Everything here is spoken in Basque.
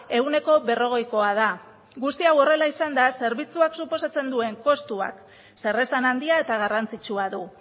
ehuneko berrogeikoa da guzti hau horrela izanda zerbitzuak suposatzen duen kostuak zeresan handia eta garrantzitsua du